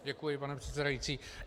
Děkuji, pane předsedající.